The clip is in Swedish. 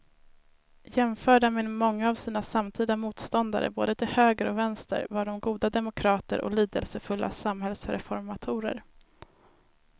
Jämförda med många av sina samtida motståndare både till höger och vänster var de goda demokrater och lidelsefulla samhällsreformatorer.